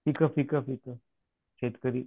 पीक पीक पीक शेतकरी